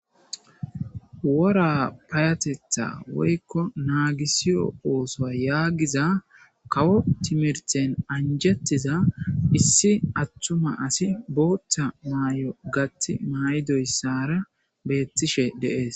wora payatetha woykko naagisiyo ooso yaagiza kawo timirten anjettiza issi attuma asi booththa maay7o gati may7idoyssara beettishe deees